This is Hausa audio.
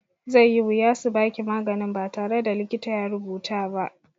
Zai yi wuya su baki maganin ba tare da likita ya rubuta ba.